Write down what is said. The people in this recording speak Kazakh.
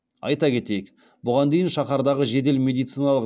айта кетейік бұған дейін шаһардағы жедел медициналық